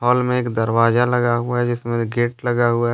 पल में एक दरवाजा लगा हुआ है जिसमें एक गेट लगा हुआ है।